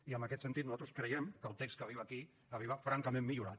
i en aquest sentit nosaltres creiem que el text que arriba aquí arriba francament millorat